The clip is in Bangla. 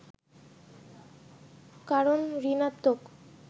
কারণ ঋণাত্নক